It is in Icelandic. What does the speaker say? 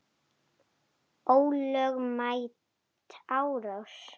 Ólögmæt árás.